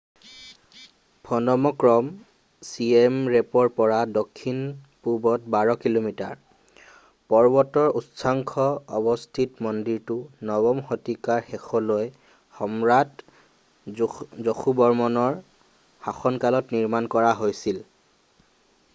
ফ'ন'ম Krom Siem ৰেপৰ পৰা দক্ষিণপূৱত 12 কিলোমিটাৰ পৰ্বতৰ উচ্চাংশ অৱস্থিত মন্দিৰটো 9ম শতিকাৰ শেষলৈ সম্ৰাট যশোবৰ্মনৰ শাসনকালত নিৰ্মাণ কৰা হৈছিল